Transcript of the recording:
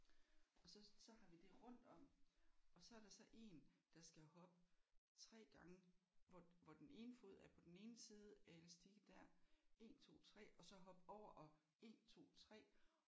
Og så så har vi det rundt om og så er der så én der skal hoppe 3 gange hvor hvor den ene fod er på den ene side af elastikken der 1 2 3 og så hoppe over og 1 2 3